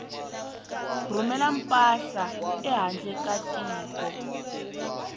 rhumela mpahla ehandle ka tiko